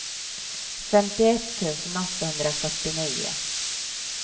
femtioett tusen åttahundrafyrtionio